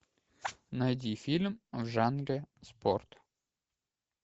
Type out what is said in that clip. найди фильм в жанре спорт